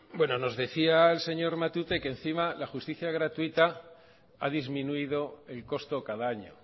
nos decía el señor matute que la justicia gratuita a disminuido el costo cada año